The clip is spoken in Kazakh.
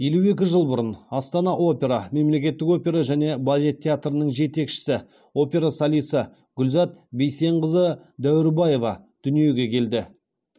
елу екі жыл бұрын астана опера мемлекеттік опера және балет театрының жетекші опера солисі гүлзат бейсенқызы дәуірбаева дүниеге келді